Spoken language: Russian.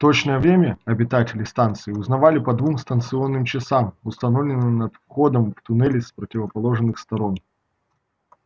точное время обитатели станции узнавали по двум станционным часам установленным над входом в туннели с противоположных сторон